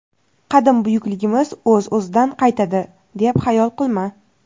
qadim buyukligimiz o‘z-o‘zidan qaytadi deb xayol qilma.